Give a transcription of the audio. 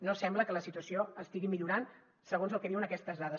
no sembla que la situació estigui millorant segons el que diuen aquestes dades